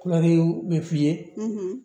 Kulɛriw bɛ f'i ye